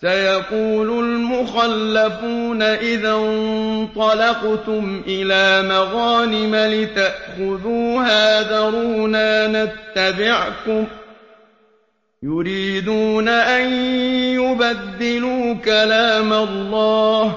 سَيَقُولُ الْمُخَلَّفُونَ إِذَا انطَلَقْتُمْ إِلَىٰ مَغَانِمَ لِتَأْخُذُوهَا ذَرُونَا نَتَّبِعْكُمْ ۖ يُرِيدُونَ أَن يُبَدِّلُوا كَلَامَ اللَّهِ ۚ